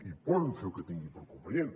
i poden fer el que tinguin per convenient